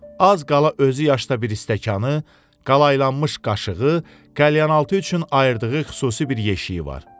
Az qala özü yaşda bir stəkanı, qalaylanmış qaşığı, kalyanaltı üçün ayırdığı xüsusi bir yeşiyi var.